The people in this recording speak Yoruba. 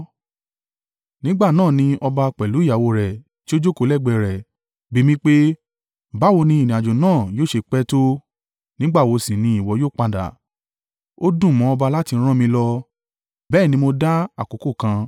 Nígbà náà ni ọba, pẹ̀lú ìyàwó rẹ̀ tí ó jókòó lẹ́gbẹ̀ẹ́ rẹ̀, bi mí pé, “Báwo ni ìrìnàjò náà yóò ṣe pẹ́ ọ tó, nígbà wo sì ni ìwọ yóò padà?” Ó dùn mọ́ ọba láti rán mi lọ, bẹ́ẹ̀ ni mo dá àkókò kan.